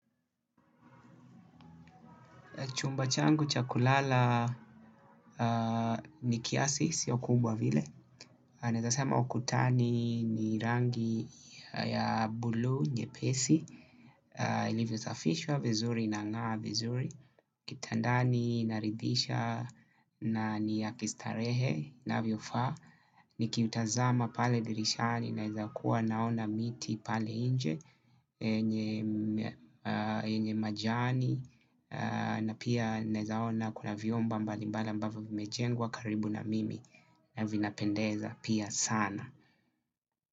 Chumba changu cha kulala ni kiasi, siyo kubwa vile. Naeza sema ukutani ni rangi ya bulu nyepesi. Ilivyosafishwa vizuri na nga vizuri. Kitandani nabridisha na ni ya kistarehe navyofa. Nikiutazama pale dirishani naeza kuwa naona miti pale inje. Enye majani na pia nezaona kuna viomba mbali mbali ambavyo vimejengwa karibu na mimi. Na vinapendeza pia sana.